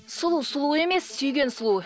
сұлу сұлу емес сүйген сұлу